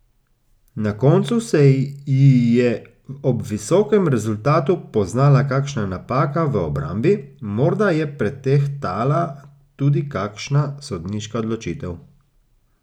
Na koncu se ji je ob visokem rezultatu poznala kakšna napaka v obrambi, morda je pretehtala tudi kakšna sodniška odločitev.